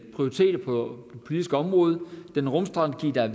politiske område den rumstrategi der